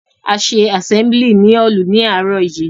A ṣe àsẹ́mlì ní hálù ní àárò yìí.